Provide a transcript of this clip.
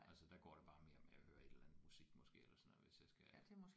Altså der går det bare mere med at høre et eller andet musik måske eller sådan noget hvis jeg skal